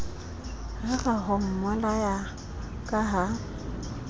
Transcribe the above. rera ho mmolaya ka ha